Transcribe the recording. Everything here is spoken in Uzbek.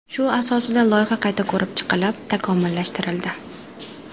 Shu asosida loyiha qayta ko‘rib chiqilib, takomillashtirildi.